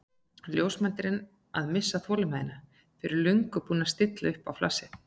Ljósmyndarinn að missa þolinmæðina, fyrir löngu búinn að stilla á flassið.